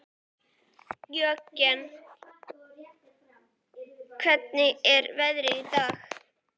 Jörgen, hvernig er veðrið í dag?